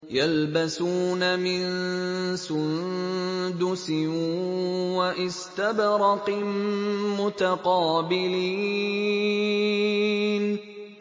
يَلْبَسُونَ مِن سُندُسٍ وَإِسْتَبْرَقٍ مُّتَقَابِلِينَ